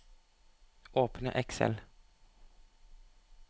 Åpne Excel